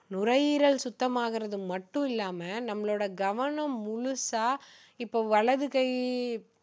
நுரையீல் சுத்தம் ஆகுறது மட்டும் இல்லாம நம்மளோட கவனம் முழுசா இப்போ வலது கை